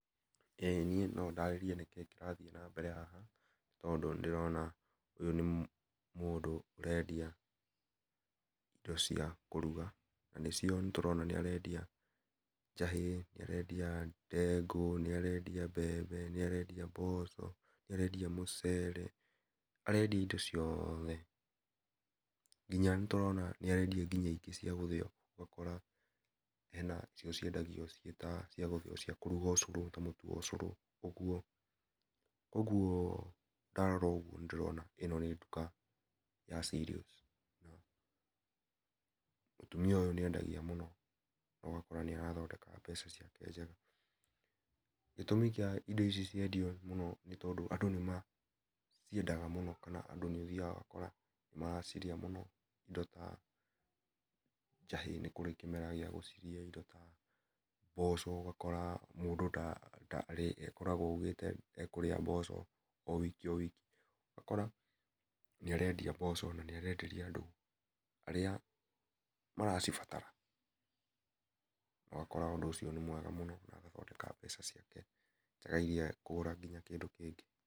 Ĩ niĩ no ndarĩrie nĩkĩĩ nĩrathiĩ na mbele haha tondũ nĩ ndĩrona ũyũ nĩ mũndũ ũrendia indo cia kũrũga na cio nĩtũrona nĩarendia njahi, nĩarendia ndengũ, nĩarendia mbembe, nĩarendia mboco, nĩarendia mũcere arendia indo ciothe nginya nĩtũrona nĩarendia nginya cia gũthĩo ũgakora hena cio ciendagio ta ciagũthĩo cia kũrũga ũcũrũ ta mũtũ ra ũcũrũ ũgũo , ũgũo ndarora ũgũo nĩ ndĩrona ĩno nĩ ndũka ya cereals mũtũmia ũyũ nĩ endagia mũno ũgakora ĩ athondeka mbeca ciake njega, gĩtũmikĩa indo ici ciendio mũno ni tondũ andũ nĩ ciendaga mũno kana andũ nĩ mathĩga ũgakora andũ nĩmaracirĩa mũno indo ta njahĩ nĩ kũrĩ kĩmera kĩa gũkũria ĩndo ta mboco ũgakora mũndũ tarĩ akoragwo aũgĩte ekũrĩa mboco o wiki o wiki ũgakora nĩ arendia mboco na arenderia arĩa maracibatara no ũgakora ũndũ ũcio nĩ mwega mũno na agathondeka mbeca ciake ĩrĩa egũthiĩ kũgũra kĩndũ kĩngĩ.